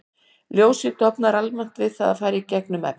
Ljósið dofnar almennt við að fara í gegnum efni.